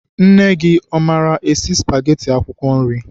Nne gị, ọ maara esi spageti akwụkwọ nri?